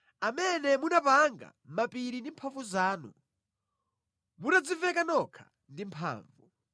amene munapanga mapiri ndi mphamvu zanu, mutadziveka nokha ndi mphamvu.